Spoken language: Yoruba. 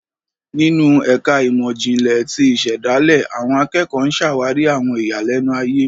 Ninu ẹka imọ-jinlẹ ti isedale, awọn akẹkọ ǹ ṣawari awọn iyalẹnu aye